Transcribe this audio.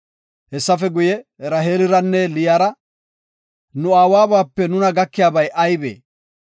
Hessafe guye, Raheeliranne Liyara “Nu aawabape nuna gakiyabay aybee?